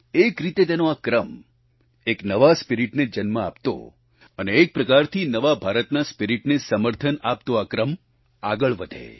એક રીતે તેનો આ ક્રમ એક નવા ભાવને જન્મ આપતો અને એક પ્રકારથી નવા ભારતની ભાનવાને સમર્થન આપતો આ ક્રમ આગળ વધે